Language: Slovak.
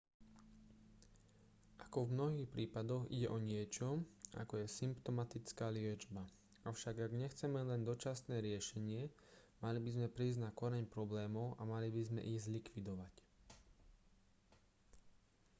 ako v mnohých prípadoch ide o niečo ako je symptomatická liečba avšak ak nechceme len dočasné riešenie mali by sme prísť na koreň problémov a mali by sme ich zlikvidovať